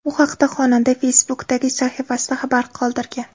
Bu haqda xonanda Facebook’dagi sahifasida xabar qoldirgan.